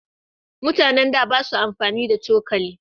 Mutanen da ba sa amfani da cokali.